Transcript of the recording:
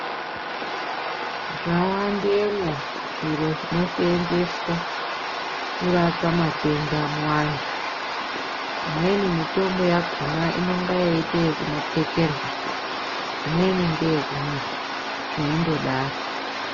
Zva wandemwo zviro zvino senzeswa kurapa matenda mu antu imweni mitombo yakona inonga yei ite ino pfekerwa imweni ngeye kumwa zveindo daro.